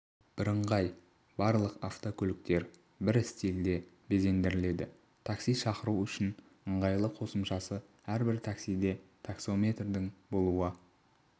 бірыңғай барлық автокөліктер бір стильде безендіріледі такси шақыру үшін ыңғайлы қосымшасы әрбір таксиде таксометрдің болуы